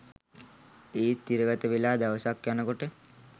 ඒත් තිරගතවෙලා දවසක් යනකොට